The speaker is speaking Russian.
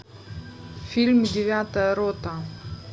фильм девятая рота